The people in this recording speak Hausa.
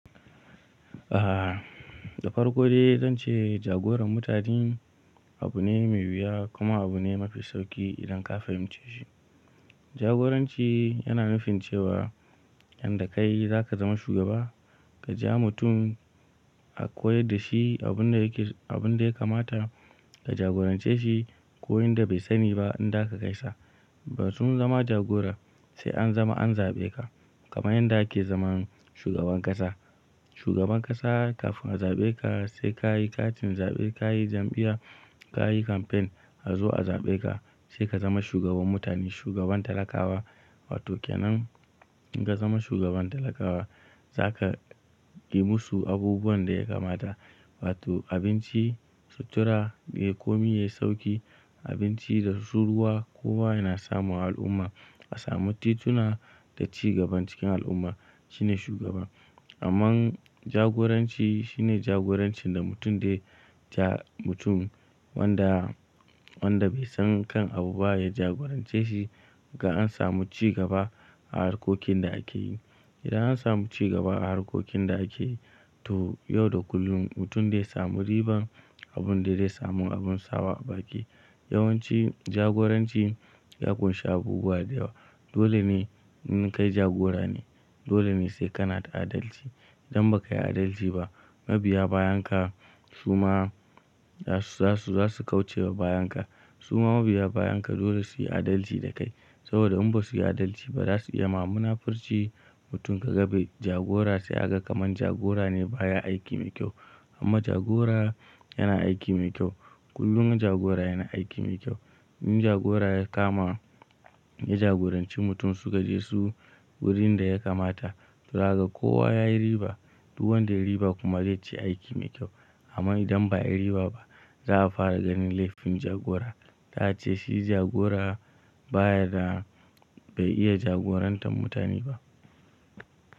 Ah, da farko dai zan ce jagoran mutane abu ne mai wuya kuma abu ne mafi sauƙi idan ka fahimce shi. Jagoranci yana nufin cewa yanda kai za ka zama shugaba, ka ja mutum a koyar da shi abin da yake, abin da ya kamata ka jagorance shi ko in da bai sani ba in da ka kai sa. Ba tun zama jagora sai an zama an zaɓe ka kamar yadda ake zaman shugaban ƙasa. Shugaban ƙasa kafin a zaɓe ka sai ka yi katin zaɓe, ka yi jam'iya, ka yi kamfen a zo a zaɓe ka sai ka zama shugaban mutane, shugaban talakawa. Wato ƙanan, in ka zama shugaban talakawa za ka yi musu abubuwan da ya kamata. Wato abinci, sutura, kayi komi yayi sauƙi, abinci da tsohuwa, kowa yana samun al'umma a samu tituna da cigaban cikin al'umma shine shugaba. Amma jagoranci shine jagorancin da mutum zai ja mutum wanda, wanda bai san kan abu ba ya jagorance shi ga an samu cigaba a harkokin da ake yi. Idan an samu cigaba a harkokin da ake yi to yau da kullum mutum dai samu riban, abun da zai samu abun sawa a baki. Yawan ci jagoranci ya ƙunshi abubuwa da yawa. Dole ne in kai jagora ne, dole ne sai kana da adalci. Idan ba ka yi adalci ba, mabiya bayanka su ma za su, za su, za su kauce wa bayanka. Su ma mabiya bayanka dole su yi adalci da kai saboda in ba su yi adalci ba za su iya ma munafurci mutum kaga be jagora sai aga kaman jagora ne ba ya aiki mai kyau. Amma jagora yana aiki mai kyau. Kullum jagora yana aiki mai kyau. In jagora ya kama, ya jagoranci mutum suka je su wurin da ya kamata, zaka ga kowa ya yi riba. Duk wanda riba kuma zai ce aiki mai kyau. Amma idan ba yi riba ba za a fara ganin laifin jagora. Za'a ce shi jagora baya da bai iya jagorantar mutane ba.